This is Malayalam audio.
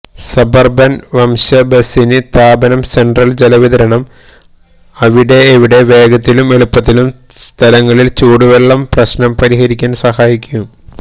സബർബൻ വശ്ബസിന് താപനം സെൻട്രൽ ജലവിതരണം അവിടെ എവിടെ വേഗത്തിലും എളുപ്പത്തിലും സ്ഥലങ്ങളിൽ ചൂട് വെള്ളം പ്രശ്നം പരിഹരിക്കാൻ സഹായിക്കും